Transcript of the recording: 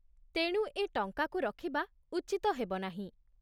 ତେଣୁ ଏ ଟଙ୍କାକୁ ରଖିବା ଉଚିତ ହେବ ନାହିଁ।